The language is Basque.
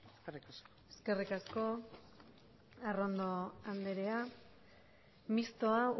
eskerrik asko eskerrik asko arrondo andrea mistoa